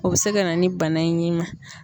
O bɛ se ka na ni bana in y'i ma.